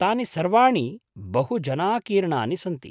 तानि सर्वाणि बहुजनाकीर्णानि सन्ति।